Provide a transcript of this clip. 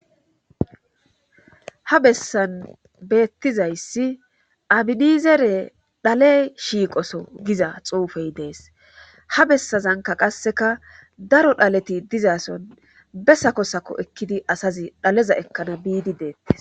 ha bessan beettizayssi abinizere dhale shiiqoso giza xuufey dees ha bessazanka qasseka daro dhaleti dizason bessa kosako ekkidi asazi dhaleza ekkana biidi deettes